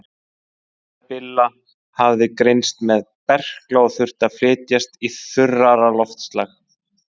Móðir Billa hafði greinst með berkla og þurfti að flytjast í þurrara loftslag.